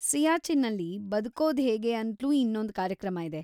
ಸಿಯಾಚಿನ್ನಲ್ಲಿ ಬದುಕೋದ್ಹೇಗೆ ಅಂತ್ಲೂ ಇನ್ನೊಂದ್‌ ಕಾರ್ಯಕ್ರಮ ಇದೆ.